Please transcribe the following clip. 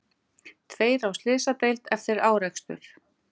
Tveir á slysadeild eftir árekstur